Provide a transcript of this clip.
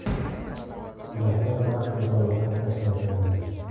Dastlab raqs musobaqasi tashkil qilindi.